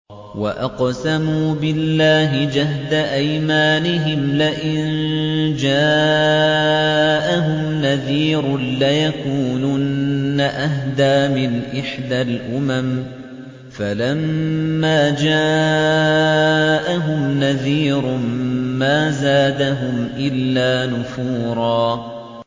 وَأَقْسَمُوا بِاللَّهِ جَهْدَ أَيْمَانِهِمْ لَئِن جَاءَهُمْ نَذِيرٌ لَّيَكُونُنَّ أَهْدَىٰ مِنْ إِحْدَى الْأُمَمِ ۖ فَلَمَّا جَاءَهُمْ نَذِيرٌ مَّا زَادَهُمْ إِلَّا نُفُورًا